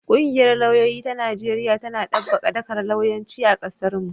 Ƙungiyar lauyoyi ta Najeriya tana ɗabbaƙa dakar lauyanci a ƙasarmu.